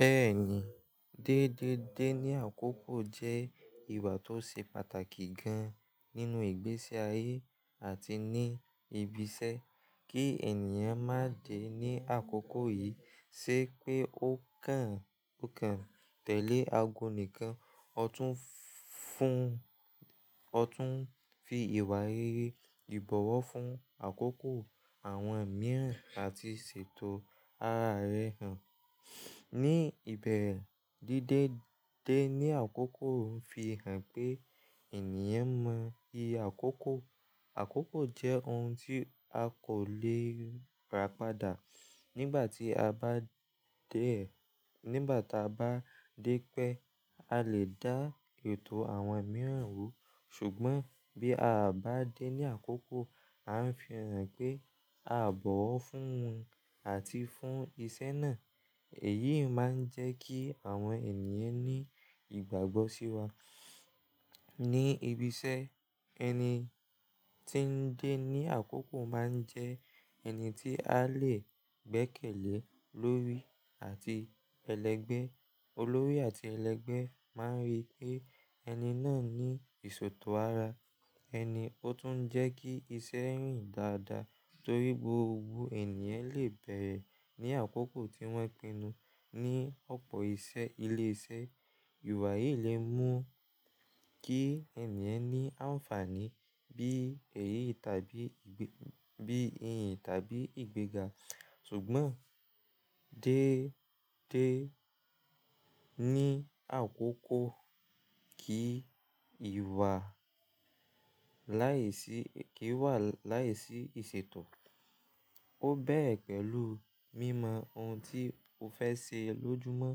Bẹ́ẹ̀ni, dédé dé ní àkókò jẹ́ ìwà tó ṣe pàtàkì gan-an nínú ìgbésí ayé àti ní ibiṣẹ́. Kí ènìyàn má de ní àkókò yìí ṣe pé ó kàn, ó kàn tẹ̀lé ago nìkan. Ó tún fún, ó tún fi ìwà rere ìbọ̀wọ̀ fún àkókò àwọn mìíràn àti ṣètò ara rẹ̀ hàn. Ní ìbẹ̀rẹ̀, dédé dé ní àkókò ń fi hàn pé ènìyàn mọ̀ yí àkókò. Àkókò jẹ́ ohun tí a kò le ràpadà. Nígbà tí a bá dẹ̀, nígbà tí a bá dé pẹ́, a lè dá ètò àwọn mìíràn rú. Ṣùgbọ́n bí a bá dé ní àkókò, a ń fi hàn pé a bọ̀wọ̀ fún àti fún ìṣe náà. Èyí máa ń jẹ́ kí àwọn ènìyàn ní ìgbàgbọ́ sí wa. Ní ibiṣẹ́, ẹni tí ń dé ní àkókò máa ń jẹ ẹni tí a lè gbẹ́kẹ̀lé lórí àti ẹlẹgbẹ́. Olórí àti ẹlẹgbẹ́ máa ń rí pé ẹni náà ní ìṣòtò ara ẹni, ó tún ń jẹ́ kí iṣẹ́ rìn dáadáa torí gbogbo ènìyàn lè bẹ̀rẹ̀ ní àkókò tí wọ́n pinnu. Ni ọ̀pọ̀ iṣẹ́ ilé iṣẹ́, ìwà yìí lè mú kí ènìyàn ní àǹfààní bí èyí tàbí ìgbẹ́, bí eyín tàbí ìgbéga. Ṣùgbọ́n dédé ní àkókò kí ìwà láìsí, kí wà láìsí ìṣètò. Ó bẹ́rẹ̀ pẹ̀lú mímọ ohun tí o fẹ́ ṣe lójúmọ́.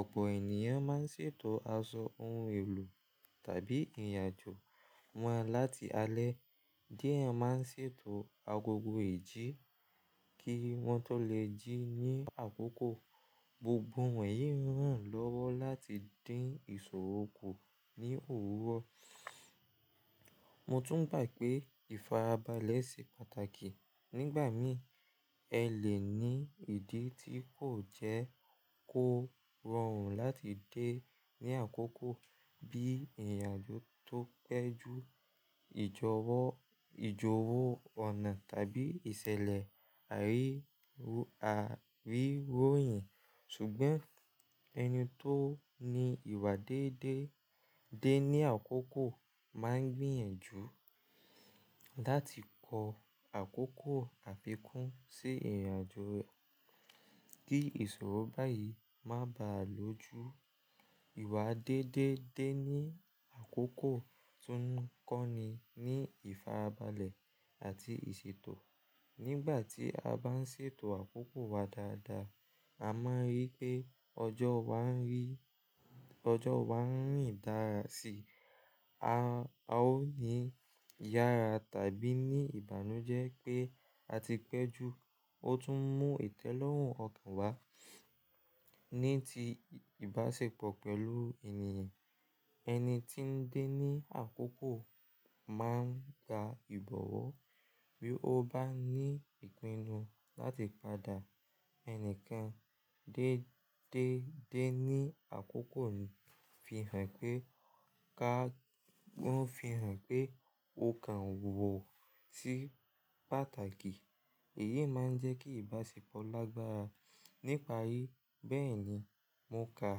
Ọ̀pọ̀ ènìyàn máa ń ṣètò aṣọ, ohun èlò tàbí ìrìnàjò wọn láti alẹ́. Diẹ máa ń ṣètò agogo ìjí kí wọ́n tó lè jí ní àkókò. Gbogbo ọ̀yọ́ yìí hàn lọ́wọ́ láti dín ìṣòro kù ní òwúrọ̀. Mo tún gbà pé ìfarabalẹ̀ ṣe pàtàkì. Nígbà mìí, ẹ lè ní ìdí tí kò jẹ́ kó rọrùn láti dé ní àkókò bí ìrìnàjò tó pẹ́ ju, ìjọwó, ìjọwó ọ̀nà tàbí ìṣẹ̀lẹ̀ àríwó, àríwó èyìn. Ṣùgbọ́n ẹni tó ní ìwà dédé dé ní àkókò máa ń gbìyànjú láti kọ àkókò àfikún sí ìrìnàjò rẹ̀ kí ìṣòro báyìí má bà á lójú. Ìwà dédé dé ní àkókò tún ń kọ́ni ní ìfarabalẹ̀ àti ìṣètò. Nígbà tí a bá ń ṣètò àkókò wa dáadáa, a máa rí pé ọjọ́ wa ń rí, ọjọ́ wa ń rìn dára sí i. A ó ní ìyára tàbí ní ìbànújẹ́ pé a ti pẹ́ ju. Ó tún mú ìtẹ́lọ́rùn ọkàn wá ní ti ìbáṣepọ̀ pẹ̀lú ènìyàn. Ẹni tí ń dé ní àkókò máa ń ka ìbọ̀wọ̀ bí ó bá ní ìpinnu láti padà. Ẹnìkán dédé dé ní àkókò ń fi hàn pé ká, ó ń fi hàn pé o kàn wò sí pàtàkì. Èyí máa ń jẹ́ kí ìbáṣepọ̀ lágbára níparí. Bẹ́ẹ̀ni, mo ka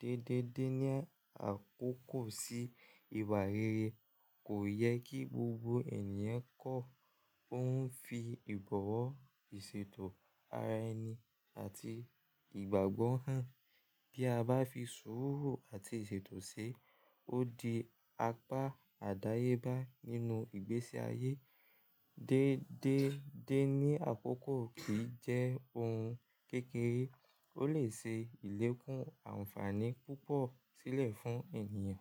dédé dé ní àkókò sí ìwà rere kò yẹ kí gbogbo ènìyàn kọ. Ó ń fi ìbọ̀wọ̀, ìṣètò ara ẹni àti ìgbàgbọ́ hàn. Bí a bá fi sùúrù àti ìṣètò ṣe, ó di apá àdáyébá nínú ìgbésí ayé. Dédé dé ní àkókò kì í jẹ́ ohun kékeré, ó lè ṣe ìlékùn àǹfààní púpọ̀ sílẹ̀ fún ènìyàn.